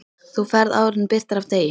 Þú ferð áður en birtir af degi.